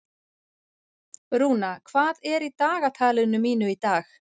Rúna, hvað er í dagatalinu mínu í dag?